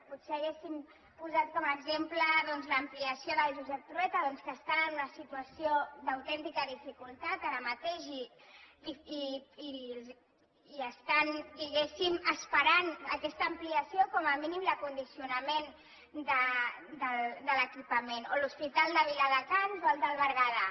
potser hauríem posat com a exemple doncs l’ampliació del josep trueta que està en una situació d’autèntica dificultat ara mateix i estan diguéssim esperant aquesta ampliació com a mínim el condicionament de l’equipament o l’hospital de viladecans o el del berguedà